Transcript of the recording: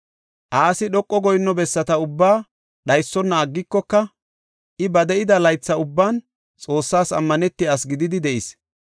Asi dhoqa goyinno bessata ubbaa dhaysona aggikoka, I ba de7ida laytha ubban Xoossas ammanetiya asi gididi de7is.